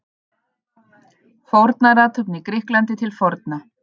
Fórnarathöfn í Grikklandi til forna.